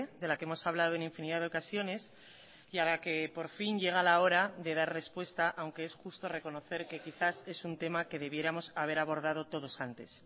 de la que hemos hablado en infinidad de ocasiones y a la que por fin llega la hora de dar respuesta aunque es justo reconocer que quizás es un tema que debiéramos haber abordado todos antes